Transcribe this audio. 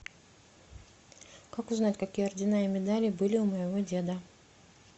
как узнать какие ордена и медали были у моего деда